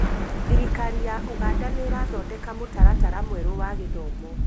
Thirikari ya ũganda nĩirathondek mũtaratara mwerũ wa gĩthomo